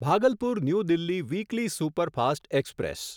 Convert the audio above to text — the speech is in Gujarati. Bhagalpur new Delhi weekly superfast express